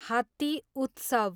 हात्ती उत्सव